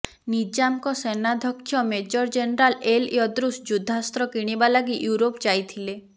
ନିଜାମ୍ଙ୍କ ସେନାଧ୍ୟକ୍ଷ major general El Edroos ଯୁଦ୍ଧାସ୍ତ୍ର କିଣିବା ଲାଗି ୟୁରୋପ ଯାଇଥିଲେ